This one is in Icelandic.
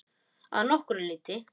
Að nokkru leyti.